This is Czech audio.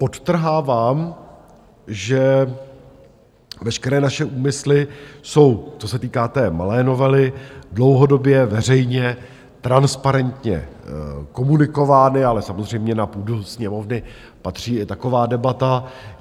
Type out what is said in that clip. Podtrhávám, že veškeré naše úmysly jsou, co se týká té malé novely, dlouhodobě veřejně, transparentně komunikovány, ale samozřejmě na půdu Sněmovny patří i taková debata.